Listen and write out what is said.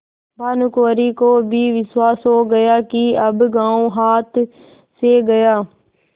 भानुकुँवरि को भी विश्वास हो गया कि अब गॉँव हाथ से गया